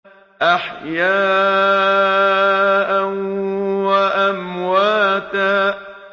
أَحْيَاءً وَأَمْوَاتًا